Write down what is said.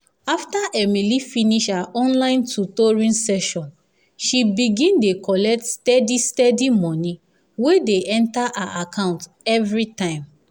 after emily finish her online tutoring sessions she begin dey collect steady steady money wey dey enter her account every time.